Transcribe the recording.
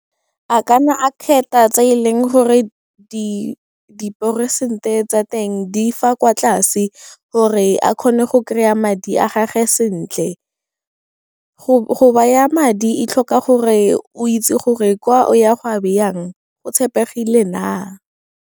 A ka na a kgetha tse e leng gore diperesente tsa teng di fa kwa tlase, gore a kgone go kry-a madi a gage sentle. Go baya madi, e tlhoka gore o itse gore kwa o ya go a beyang go tshepegile na.